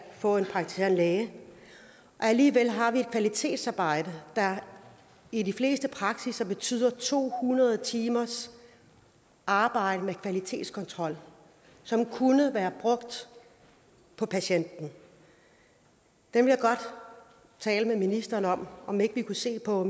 få en praktiserende læge alligevel har vi et kvalitetsarbejde der i de fleste praksisser betyder to hundrede timers arbejde med kvalitetskontrol som kunne være brugt på patienten jeg vil godt tale med ministeren om om ikke vi kunne se på